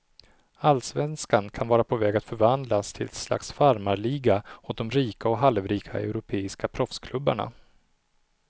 Allsvenskan kan vara på väg att förvandlas till ett slags farmarliga åt de rika och halvrika europeiska proffsklubbarna.